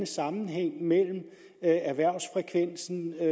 sammenhæng mellem erhvervsfrekvensen